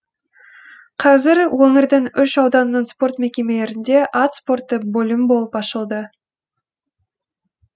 қазір өңірдің үш ауданының спорт мекемелерінде ат спорты бөлім болып ашылды